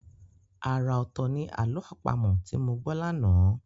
Ara ọ̀tọ̀ ní àlọ́ àpamọ̀ tí mo gbọ́ lánàá.